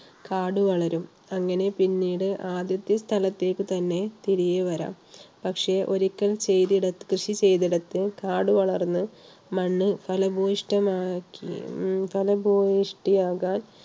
കാട് വളരും. അങ്ങനെ പിന്നീട് ആദ്യത്തെ സ്ഥലത്തേക്ക് തന്നെ തിരികെ വരാം. പക്ഷേ ഒരിക്കൽ കൃഷി ചെയ്തിടത്ത് കാടുവളർന്ന് മണ്ണ് ഫലപുഷ്ട~ഫലപുഷ്ടി ആകാൻ